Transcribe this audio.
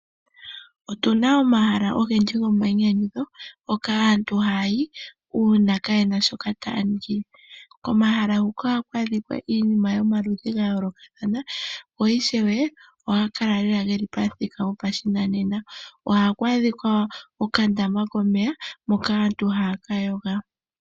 Otuna omahala ogendji goma yi nyanyudho hoka aantu ha yayi uuna kayena shoka taya ningi. Komahala huka ohaku adhika iinima yomaludhi ga yoolokathana go ishewe ohaga kala geli pamuthika gwoshinanena. Ohaku adhika okandama komeya moka aantu haya kayoga.